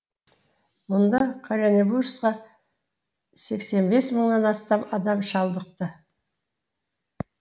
мұнда коронавирусқа сексен бес мыңнан астам адам шалдықты